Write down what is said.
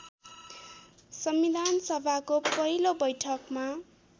संविधानसभाको पहिलो वैठकमा